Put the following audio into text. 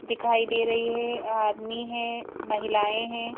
दिखाई दे रही है आदमी है महिलाएँ हैं।